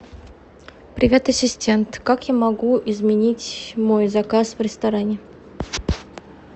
привет ассистент как я могу изменить мой заказ в ресторане